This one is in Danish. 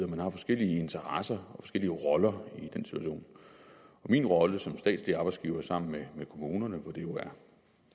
man har forskellige interesser og forskellige roller i den situation min rolle som statslig arbejdsgiver er sammen med kommunerne hvor det jo er